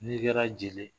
N'i kɛra jeli ye